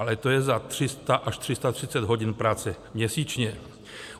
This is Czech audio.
Ale to je za 300 až 330 hodin práce měsíčně.